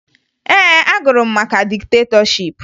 Ee, agụrụ m maka diktetọship